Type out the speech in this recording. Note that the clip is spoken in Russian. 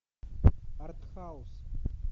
артхаус